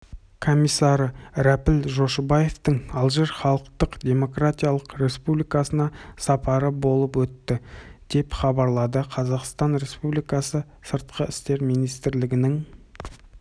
комиссары рәпіл жошыбаевтың алжир халықтық-демократиялық республикасына сапары болып өтті деп хабарлады қазақстан республикасы сыртқы істер министрлігінің